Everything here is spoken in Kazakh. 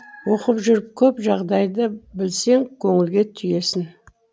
оқып жүріп көп жағдайды білсең көңілге түйесің